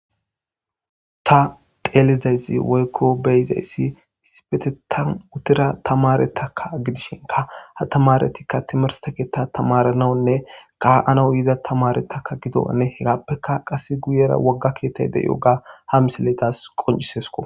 Ta xelizayiss woyikko beyizayss issipeteththan utida tamaretakka gidishinkka ha tamaretikka timirte kethan tamaranawnne ka'anaw yda tamare gido ane hegapekka wogga keththay de'iyogga ha missiley qoncisesikko